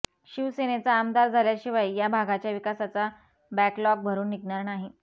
शिवसेनेचा आमदार झाल्याशिवाय या भागाच्या विकासाचा बॅकलॉक भरुन निघणार नाही